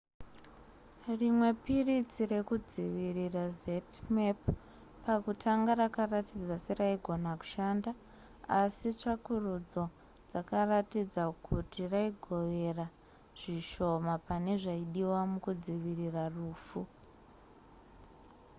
rimwe piritsi rekudzivirira zmapp, pakutanga rakaratidza seraigona kushanda asi tsvakurudzo dzakaratidza kuti raigovera zvishoma pane zvaidiwa mukudzivirira rufu